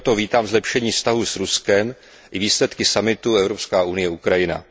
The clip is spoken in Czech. I proto vítám zlepšení vztahů s Ruskem i výsledky summitu Evropská unie Ukrajina.